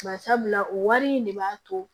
Bari sabula o wari in de b'a to